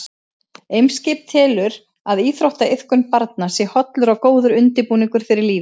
Eimskip telur að íþróttaiðkun barna sé hollur og góður undirbúningur fyrir lífið.